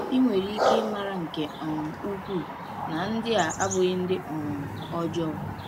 Ị nwere ike ịmara nke um ukwuu na ndị a abụghị ndị um ọjọọ.